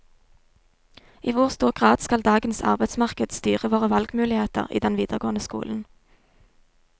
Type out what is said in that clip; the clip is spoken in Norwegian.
I hvor stor grad skal dagens arbeidsmarked styre våre valgmuligheter i den videregående skolen?